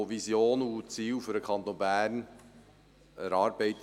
Es wurden Visionen und Ziele für den Kanton Bern erarbeitet.